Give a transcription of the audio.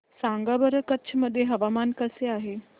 सांगा बरं कच्छ मध्ये हवामान कसे आहे